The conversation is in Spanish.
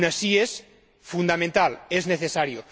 Aun así, es fundamental, es necesario.